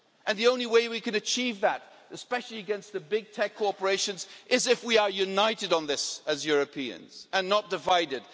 The only way we can achieve that, especially against the big tech corporations, is if we are united on this, as Europeans, and not divided.